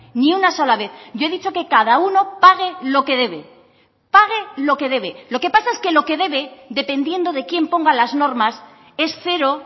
ni una sola vez yo he dicho que cada uno pague lo que debe pague lo que debe lo que pasa es que lo que debe dependiendo de quién ponga las normas es cero